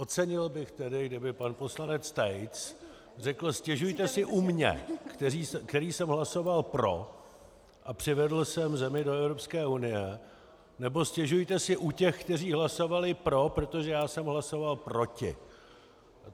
Ocenil bych tedy, kdyby pan poslanec Tejc řekl: "Stěžujte si u mne, který jsem hlasoval pro a přivedl jsem zemi do Evropské unie, nebo stěžujte si u těch, kteří hlasovali pro, protože já jsem hlasoval proti."